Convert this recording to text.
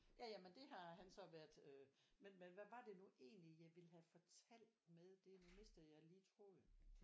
Ja Ja men det har han så været øh men hvad var det nu egentlig jeg ville have fortalt med det nu mistede jeg lige tråden